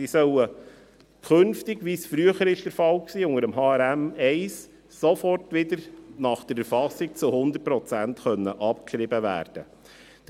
Diese sollen künftig, wie es früher mit HRM1 der Fall war, sofort wieder nach der Erfassung zu 100 Prozent abgeschrieben werden können.